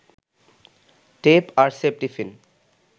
tape আর safety pin